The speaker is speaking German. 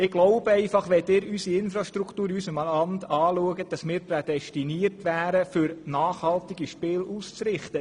Aufgrund der Infrastruktur in unserem Land wären wir meines Erachtens für das Ausrichten von nachhaltigen Spielen prädestiniert.